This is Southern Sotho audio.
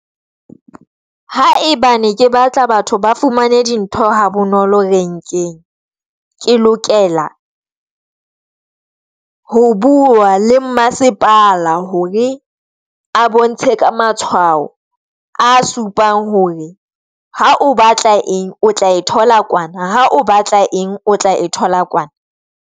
Ha e ba ne ke batla batho ba fumane dintho ha bonolo renkeng, ke lokela ho bua le mmasepala hore a bontshe ka matshwao a supang hore ha o batla eng o tla e thola kwana, ha o batla eng, o tla e thola kwana.